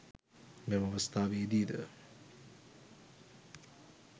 මෙම අවස්ථාවේදී ද